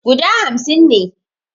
Guda hamsin ne